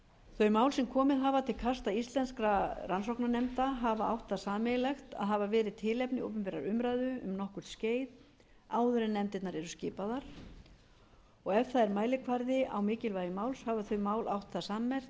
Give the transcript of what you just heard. þau mál sem komið hafa til kasta íslenskra rannsóknarnefnda hafa átt það sameiginlegt að hafa verið tilefni opinberrar umræðu um nokkurt skeið áður en nefndirnar eru skipaðar og ef það er mælikvarði á mikilvægi máls hafa þau mál átt það sammerkt að